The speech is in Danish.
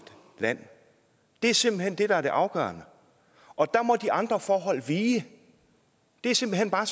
land det er simpelt hen det der er det afgørende og der må de andre forhold vige det er simpelt hen bare